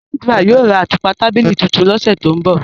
Sandra yóò rá àtupa tàbílí tuntùn ni ọsẹ tó nbọ̀.